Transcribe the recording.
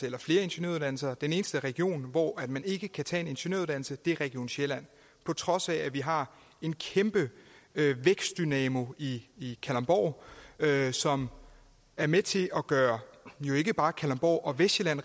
eller flere ingeniøruddannelser den eneste region hvor man ikke kan tage en ingeniøruddannelse er region sjælland på trods af at vi har en kæmpe vækstdynamo i kalundborg som er med til at gøre jo ikke bare kalundborg og vestsjælland